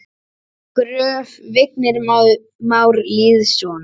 Gröf: Vignir Már Lýðsson